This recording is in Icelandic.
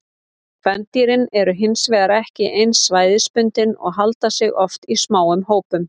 Kvendýrin eru hin vegar ekki eins svæðisbundin og halda sig oft í smáum hópum.